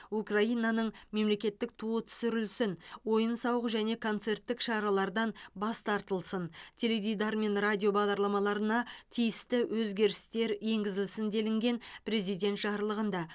украинаның мемлекеттік туы түсірілсін ойын сауық және концерттік шаралардан бас тартылсын теледидар мен радио бағдарламаларына тиісті өзгерістер енгізілсін делінген президент жарлығында